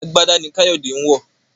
àgbàdá ní Kayode ń wọ.